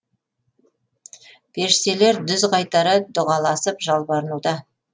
періштелер дүз қайтара дұғаласып жалбарынуда